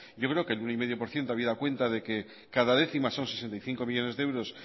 yo creo que el uno coma cinco por ciento habiendo cuenta de que cada décima son sesenta y cinco millónes de euros